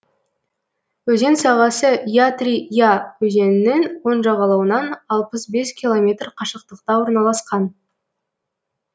өзен сағасы ятри я өзенінің оң жағалауынан алпыс бес километр қашықтықта орналасқан